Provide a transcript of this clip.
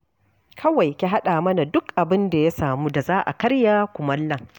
Kawai ki haɗa mana duk abinda ya samu da za a karya kumallon.